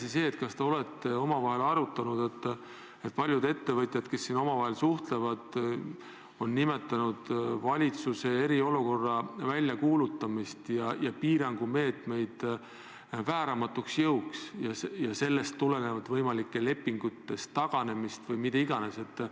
Ja teine pool: kas te olete omavahel arutanud, et paljud ettevõtjad, kes omavahel suhtlevad, on nimetanud valitsuse poolt eriolukorra väljakuulutamist ja piirangumeetmeid vääramatuks jõuks ja sellest tulenevalt püüavad lepingutest taganeda või mida iganes?